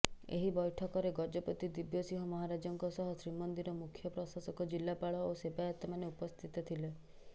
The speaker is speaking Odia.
ଏହି ବୈଠକରେ ଗଜପତି ଦିବ୍ୟସିଂହ ମହାରାଜଙ୍କ ସହ ଶ୍ରୀମନ୍ଦିର ମୁଖ୍ୟ ପ୍ରଶାସକ ଜିଲ୍ଲାପାଳ ଓ ସେବାୟତମାନେ ଉପସ୍ଥିତ ଥିଲେ